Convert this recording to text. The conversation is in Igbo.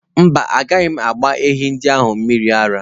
Mba, agaghị m agba ehi ndị ahụ mmiri ara.